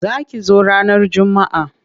Za ki zo ranar Juma'a.